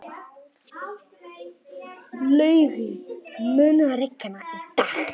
Laugi, mun rigna í dag?